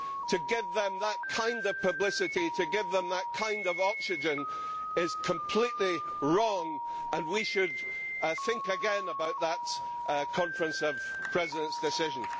to give them that kind of publicity, to give them that kind of oxygen is completely wrong. We should think again about that Conference of Presidents' decision.